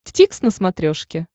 дтикс на смотрешке